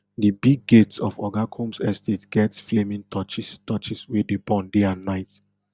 di big gates of oga combs estate get flaming torches torches wey dey burn day and night